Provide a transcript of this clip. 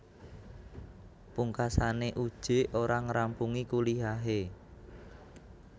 Pungkasane Uje ora ngrampungi kuliahe